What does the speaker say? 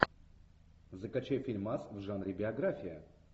закачай фильмас в жанре биография